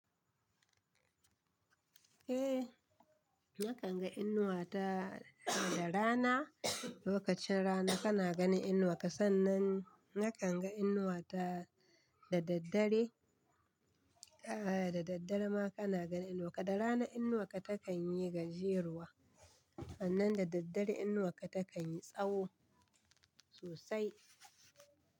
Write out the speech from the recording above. Eh, nakan ga inuwa ta da rana, lokacin rana kana ganin inuwa, sannan nakan ga inuwa ta da daddare, eh da daddare ma kana ganin inuwa. Da rana inuwa ta kan yi gajeruwa, sannan da daddare inuwa ta kan yi tsawo sosai.